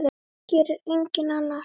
Það gerir enginn annar.